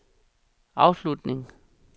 afslutning